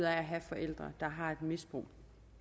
at have forældre der har et misbrug